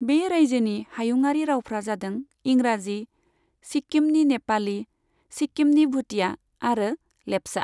बे रायजोनि हायुङारि रावफ्रा जादों इंराजि, सिक्किमनि नेपाली, सिक्किमनि भूटिया आरो लेप्चा।